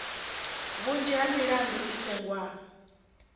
vhunzhi ha milandu i sengiwa